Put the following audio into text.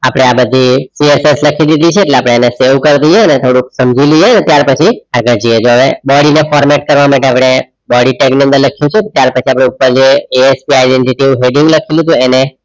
આપણે આ બધી PSS લખી દીધી છે શરૂ કરી દઈએ થોડુંક સમજી લઈએ ત્યાર પછી આગળ જઈએ આપણે body ને format કરવા માટે આપણે body tag number લખીએ છીએ ત્યાર પછી આપણે ઉપર જે ASD જેવું heading લખ્યું હતું. એને